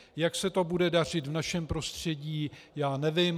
Jak se to bude dařit v našem prostředí, já nevím.